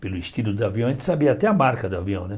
pelo estilo do avião, a gente sabia até a marca do avião, né?